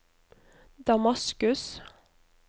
Damaskus